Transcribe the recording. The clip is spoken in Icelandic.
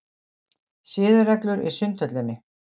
SIÐAREGLUR í Sundhöllinni.